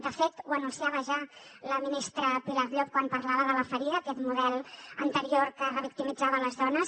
de fet ho anunciava ja la ministra pilar llop quan parlava de la ferida aquest model anterior que revictimitzava les dones